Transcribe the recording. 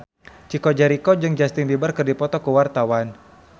Chico Jericho jeung Justin Beiber keur dipoto ku wartawan